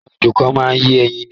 Àwọn ejò kan máa ń yé ẹyin ni.